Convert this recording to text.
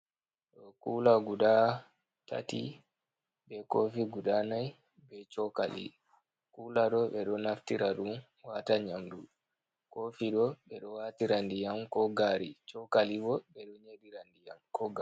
Ɗo kula guda tati, be kofi guda nai, be chokali. Kula ɗo ɓe ɗo naftira wata nyamdu. Kofi bo ɓeɗo waatira ndiyam ko gari. Chokali bo ɓedon yerira ndiyam ko gar...